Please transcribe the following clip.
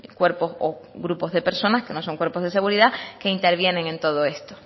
cuerpos o grupos de personas que no son cuerpos de seguridad que intervienen en todo esto